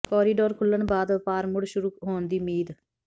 corridor ਖੁੱਲ੍ਹਣ ਬਾਅਦ ਵਪਾਰ ਮੁੜ ਸ਼ੁਰੂ ਹੋਣ ਦੀ ਉਮੀਦ